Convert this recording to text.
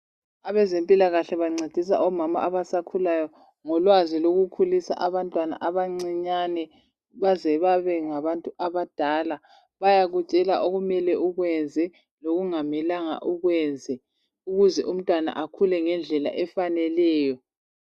Abezempilakahle bancedisa omama abasakhulayo ngolwazi lokukhulisa abantwana abanciyane baze babengabantu abadala bayakutshela okumele ukwenze lokungamelanga ukwenze ukuze umntwana akhule ngendlela efaneleyo